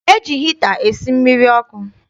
E ji hita esi mmiri ọkụ.